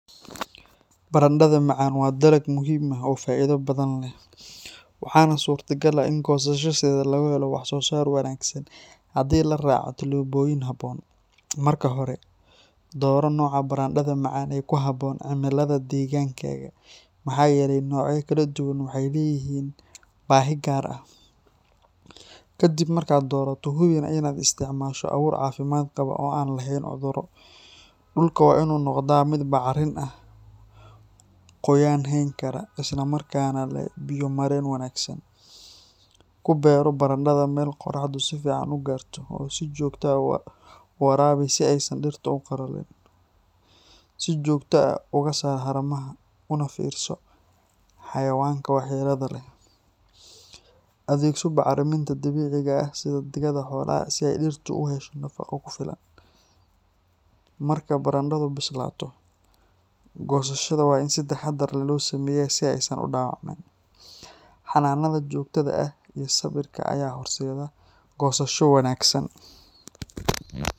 Barandhada macaan waa dalag muhiim ah oo faa’iido badan leh, waxaana suurtagal ah in goosashadeeda laga helo wax-soo-saar wanaagsan haddii la raaco tillaabooyin habboon. Marka hore, dooro nooca barandhada macaan ee ku habboon cimilada deegaankaaga, maxaa yeelay noocyada kala duwan waxay leeyihiin baahi gaar ah. Ka dib markaad doorato, hubi inaad isticmaasho abuur caafimaad qaba oo aan lahayn cudurro. Dhulka waa inuu noqdaa mid bacrin ah, qoyaan hayn kara, isla markaana leh biyo-mareen wanaagsan. Ku beero barandhada meel qorraxdu si fiican u gaarto, oo si joogto ah u waraabi si aysan dhirtu u qalalin. Si joogto ah uga saar haramaha, una fiirso xayawaanka waxyeellada leh. Adeegso bacriminta dabiiciga ah sida digada xoolaha si ay dhirtu u hesho nafaqo ku filan. Marka barandhadu bislaato, goosashada waa in si taxaddar leh loo sameeyaa si aysan u dhaawacmin. Xanaanada joogtada ah iyo sabirka ayaa horseeda goosasho wanaagsan.